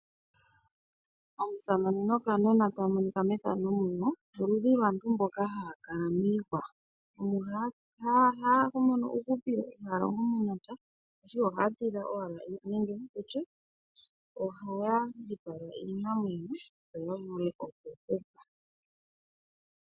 Omusamane nokanona taa monika mefano muno, oludhi lwaantu mboka haa kala miihwa. Omo haa mono uuhupilo, ihaa longo momapya. Ashike ohaya tidha owala nenge tu tye ohaya dhipaga iinamwenyo yo ya vule okuhupa